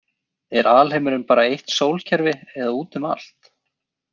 Er alheimurinn bara eitt sólkerfi eða út um allt?